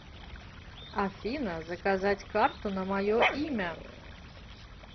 афина заказать карту на мое имя